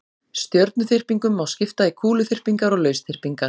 Stjörnuþyrpingum má skipta í kúluþyrpingar og lausþyrpingar.